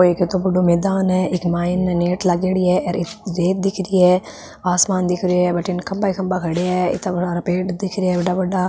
वो किता बड़ो मैदान है अ के मायने नेट लागेड़ी है रेत दिखरी है आसमान दिखरो है बडीने खंबा ही खंभा खड़ा है इता बड़ा बड़ा पेड़ दिखरा है बड़ा बड़ा --